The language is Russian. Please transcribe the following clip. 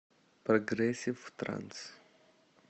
прогрессив транс